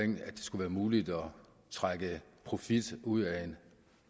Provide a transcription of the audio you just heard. trække profitten ud